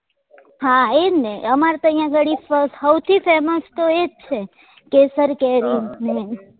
હા એ જ ને અમાર તો અહિયાં ગાડી હૌથી femas તો એ જ છે કેસર કેરી ને